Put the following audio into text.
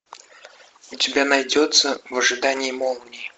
у тебя найдется в ожидании молнии